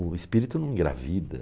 O espírito não engravida.